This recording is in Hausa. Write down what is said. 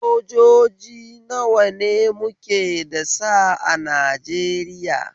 Sojoji gida nawa ne muke da sa a Najeriya?